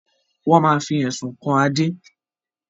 Wọn má fi Ẹ̀sùn kan Adé